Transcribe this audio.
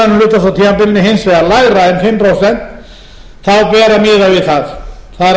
tímabilinu hins afar lægra en fimm prósent ber að miða við það það